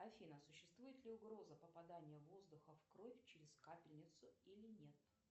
афина существует ли угроза попадания воздуха в кровь через капельницу или нет